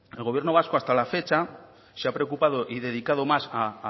el gobierno vasco hasta la fecha se ha preocupado y dedicado más a